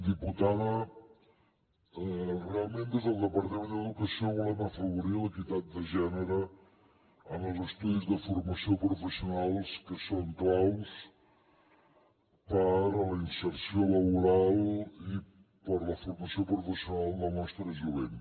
diputada realment des del departament d’educació volem afavorir l’equitat de gènere en els estudis de formació professional que són clau per a la inserció laboral i per a la formació professional del nostre jovent